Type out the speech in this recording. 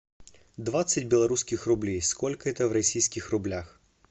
двадцать белорусских рублей сколько это в российских рублях